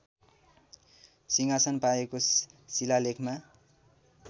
सिंहासन पाएको शिलालेखमा